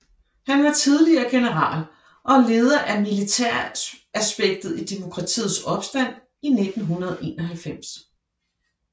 Han var tidligere general og leder af militæraspektet i demokratiets opstand i 1991